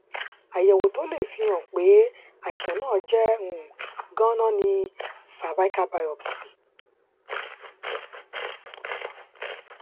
àyẹwò tó lè fi lè fi hàn pé àìsàn náà jẹ um ganan ni cervical biopsy